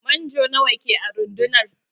Manjo nawa ke a rundunar?